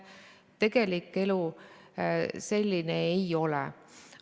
Tegelik elu selline ei ole.